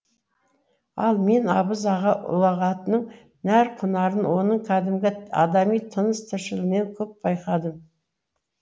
ал мен абыз аға ұлағатының нәр құнарын оның кәдімгі адами тыныс тіршілігінен көп байқадым